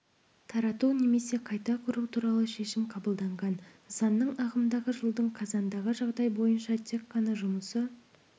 тарату немесе қайта құру туралы шешім қабылданған нысанның ағымдағы жылдың қазандағы жағдай бойынша тек ғана жұмысы